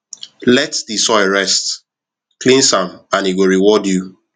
let the soil rest cleanse am and e go reward you